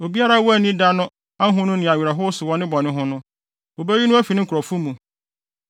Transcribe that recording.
Obiara a wanni da no ahonu ne awerɛhow so wɔ ne bɔne ho no, wobeyi no afi ne nkurɔfo mu.